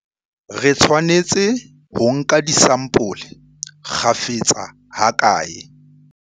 Re tshwanetse ho nka disampole kgafetsa hakae?